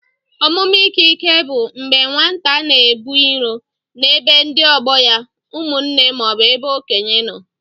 Ọmụme ike ike bụ mgbé nwata na-ebu irò na-ebe ndị ọgbọ ya, ụmụnne maọbu ebe okénye nọ.